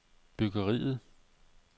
byggeriet